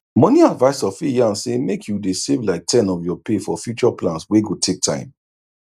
money advisor fit yarn say make you dey save like ten of your pay for future plans wey go take time